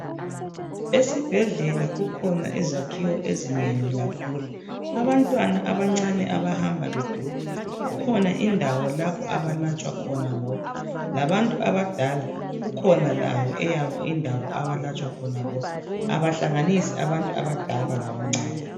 Esibhedlela kukhona zakhiwo ezinengi kakhulu abantwana abancane abahamba be gula kukhona indawo lapho abalatshwa khona bodwa, labantu abadala kukhona indawo yabo abalatshwa khona bodwa, abahlanganisi abadala labantwana.